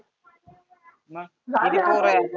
मग किती पोरंं आहेत.